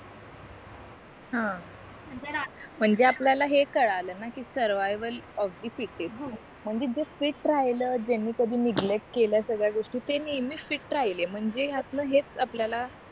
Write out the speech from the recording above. हां म्हणजे आपल्याला हे कळलं ना कि सर्वायवल म्हणजे जर फिट राहिल ज्यांनी कधी नेगलेट केल्या सगळ्या गोष्टी ते नेहमी फिट राहिले म्हणजे ह्यातन हे हेच आपल्याला